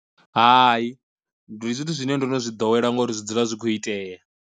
Hai ndi zwithu zwine ndo no zwi ḓowela ngori zwi dzula zwi kho iteya.